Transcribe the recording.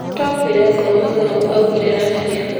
"Nìtwakwire ngoro mũno, augire Rabia.